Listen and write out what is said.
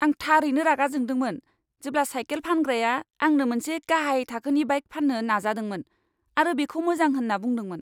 आं थारैनो रागा जोंदोंमोन जेब्ला साइकेल फानग्राया आंनो मोनसे गाहाइ थाखोनि बाइक फाननो नाजादोंमोन आरो बेखौ मोजां होनना बुंदोंमोन!